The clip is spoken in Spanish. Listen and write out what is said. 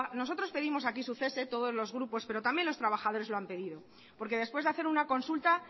nosotros pedimos aquí su cese todos los grupos pero también los trabajadores lo han pedido porque después de hacer una consulta